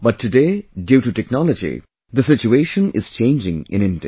But today due to technology the situation is changing in India